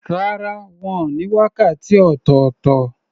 Rárá, wọ́n ní wákàtí ọ̀tọ̀tọ̀.